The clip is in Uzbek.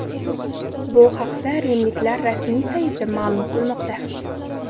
Bu haqda rimliklar rasmiy sayti ma’lum qilmoqda .